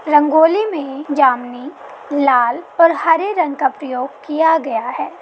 रंगोली में जामुनी लाल और हरे रंग का प्रयोग किया गया हैं।